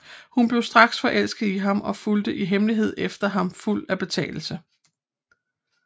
Hun blev straks forelsket i ham og fulgte i hemmelighed efter ham fuld af betagelse